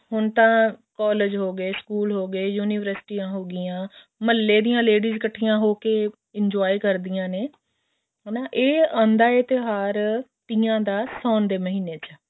ਹੁਣ ਤਾਂ ਸਕੂਲ ਹੋਗੇ collage ਹੋਗੇ ਯੂਨਿਵਰਸਿਟੀਆਂ ਹੋਗੀਆਂ ਮਹੱਲੇ ਦੀਆਂ ladies ਇੱਕਠੀਆਂ ਹੋਕੇ enjoy ਕਰਦਿਆਂ ਨੇ ਇਹ ਆਉਂਦਾ ਹੈ ਤਿਉਹਾਰ ਤੀਆਂ ਦਾ ਸਾਉਣ ਦੇ ਮਹੀਨੇ ਵਿੱਚ